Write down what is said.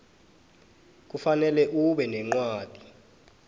kufanele ube nencwadi